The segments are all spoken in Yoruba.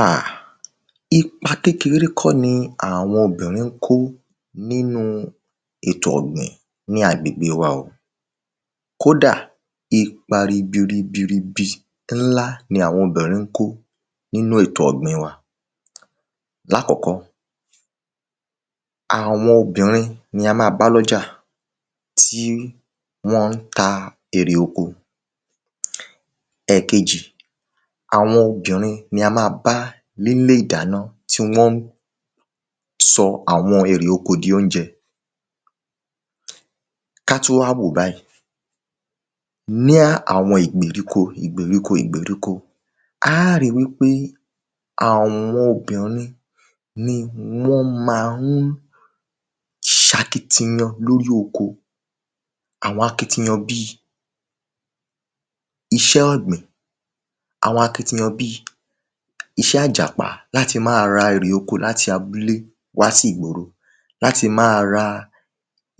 Ah!, ipa kékeré kọ́ ni àwọn obìnrin ń kó nínu ètò ọ̀gbìn, ni agbègbè wa o, kó dà, ipa ribi ribi ribi, ńlá ní àwọn obìnrin ńkó nínú ètò ọ̀gbìn wa. Láàkọ́kọ́, àwọn obìnrin ni a ma bá lọ́jà, tí wọ́n ta erè oko. Ẹ̀kejì, àwọn obìnrin ni a ma bá nílé ìdáná tí wọ́n sọ àwọn erè oko di oúnjẹ. Ká tún wá wòó báì, ní àwọn ìgbèríko ìgbèríko ìgbèríko, á ri wípé àwọn obìnrin ni wọ́n ma ń sakitiyan lórí oko, àwọn akitiyan bíi, iṣẹ́ ọ̀gbìn, àwọn akitiyan bíì, iṣẹ́ àjàpá láti máa ra erè òkò láti abúlé wá sí ìgboro láti máa ra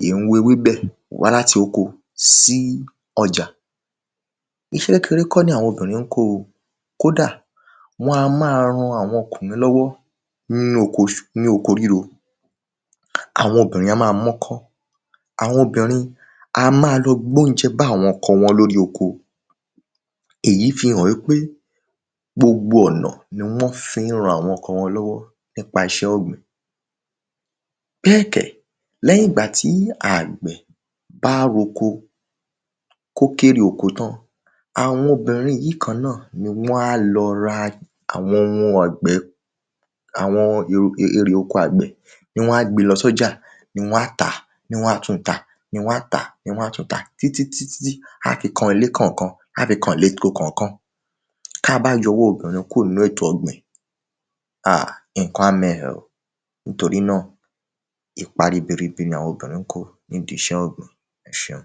ìhún ewébẹ̀ wa láti oko sí ọjà. Iṣẹ́ kékeré kó ni àwọn obìnrin ńkó o, kó dà, wọn á ma ran àwọn ọkùnrin lọ́wọ́ ní oko ríro. Àwọn obìnrin a máa m'ọ́kọ́, àwọn obìnrin a máa lọ gbé oúnjẹ bá àwọn ọkọ wọn lóri oko, èyí fi hàn wípé gbogbo ọ̀nà ni wọ́n fi ń ran àwọn ọkọ wọn lọ́wọ́ nípa iṣẹ́ ọ̀gbìn. Bẹ́ẹ̀ kẹ̀, lẹ́yìn ìgbà tí àgbẹ̀ bá r’oko, kó kérè oko tán, àwọn obìnrin yìí kan náà, ni wọ́n á lọ ra àwọn oun àgbẹ̀, àwọn erè oko àgbẹ̀ ní wọ́n á gbe lọ sọ́jà, ni wọ́n á tàá, ni wọ́n á tun tà, ni wọ́n á tàá, ni wọ́n á tun tà, tí tí tí, á fi kan lẹ́ kàn kan, á fi kàn lé ko kàn kan. Tabá yọ ọwọ́ obìnrin kúrò ní èto ọ̀gbìn, ah!, ǹkan a mẹ́ ẹ oh! nítorí náà ipa ribi ribi ni àwọn obìnrin ń kó ní ìdí iṣẹ́ ọ̀gbìn. Ẹsẹun.